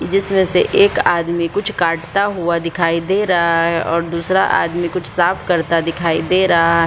जिसमे से एक आदमी कुछ काटता हुआ दिखाई दे रहा है और दूसरा आदमी कुछ साफ करता दिखाई दे रहा --